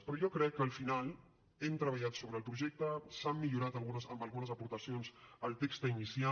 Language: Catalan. però jo crec que al final hem treballat sobre el projecte s’ha millorat amb algunes aportacions el text inicial